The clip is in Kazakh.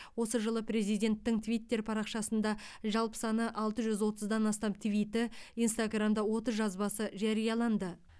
осы жылы президенттің твиттер парақшасында жалпы саны алты жүз отыздан астам твиті инстаграмда отыз жазбасы жарияланды